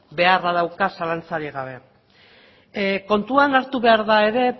beharra dauka zalantzarik gabe kontuan hartu behar da ere